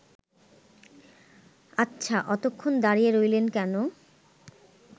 আচ্ছা অতক্ষণ দাঁড়িয়ে রইলেন কেন